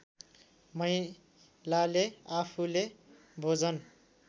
महिलाले आफूले भोजन